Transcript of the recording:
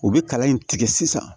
U bɛ kala in tigɛ sisan